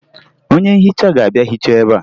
Onye nhicha ga-abịa hichaa ebea